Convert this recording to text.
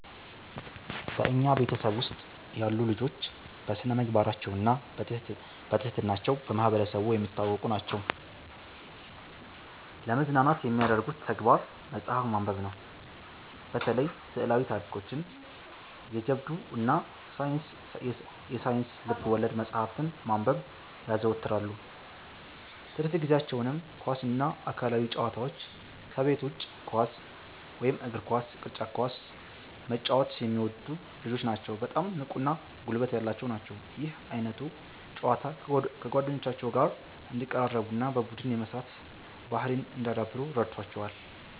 በኛ ቤተሰብ ውስጥ ያሉ ልጆች በስነምግባራቸውና በትህትና ቸው በማህበረሰቡ የሚታወቁ ናቸዉ። ለመዝናናት የሚያደርጉት ተግባር መጽሐፍ ማንበብነው። በተለይ ስዕላዊ ታሪኮችን፣ የጀብዱ እና የሳይንስ ልብወለድ መጽሐፍትን ማንበብ ያዘወትራሉ። ትርፍ ጊዜአቸውንም ኳስ እና አካላዊ ጨዋታዎች ከቤት ውጭ ኳስ (እግር ኳስ፣ ቅርጫት ኳስ) መጫወት የሚወዱ ልጆች ናቸዉ በጣም ንቁ እና ጉልበት ያላቸው ናቸው። ይህ ዓይነቱ ጨዋታ ከጓደኞቻቸው ጋር እንዲቀራረቡና በቡድን የመስራት ባህርይን እንዲያዳብሩ ረድቶቸዋል።